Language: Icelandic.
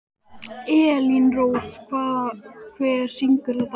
Elírós, hver syngur þetta lag?